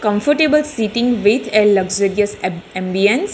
Comfortable sitting with luxurious am ambians.